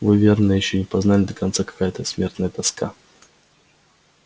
вы верно ещё не познали до конца какая это смертная тоска